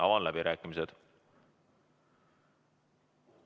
Avan läbirääkimised.